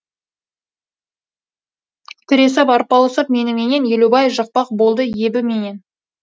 тіресіп арпалысып меніменен елубай жықпақ болды ебіменен